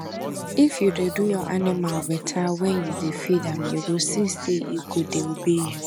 if you dey do your animal better wen you dey feed am you go see say e go dey obey you